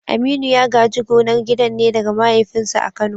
Aminu ya gaji gonar gidan ne daga mahaifinsa a Kano.